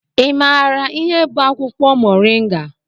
Ị maara ihe bụ akwụkwọ Moringa?